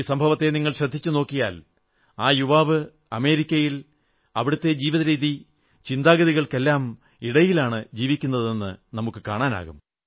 ഈ സംഭവത്തെ നിങ്ങൾ ശ്രദ്ധിച്ചു നോക്കിയാൽ ആ യുവാവ് അമേരിക്കയിൽ അവിടത്തെ ജീവിതരീതി ചിന്താഗതികൾക്കെല്ലാമിടയിലാണ് ജീവിക്കുന്നതെന്നു കാണാം